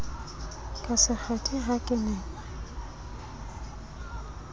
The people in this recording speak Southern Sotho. ka sekgethe ha ke ne